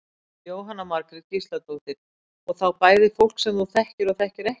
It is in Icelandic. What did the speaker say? Jóhanna Margrét Gísladóttir: Og þá bæði fólk sem þú þekkir og þekkir ekki?